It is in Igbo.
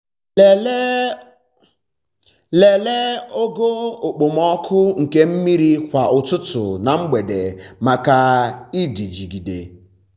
lelee ogo okpomọkụ nke mmiri kwa ụtụtụ na mgbede maka ịdịgide.